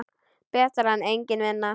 Betra en engin vinna.